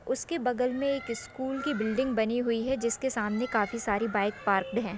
उसके बगल में एक स्कूल की बिल्डिंग बनी हुई है जिसके सामने काफी सारी बाइक पार्कड है।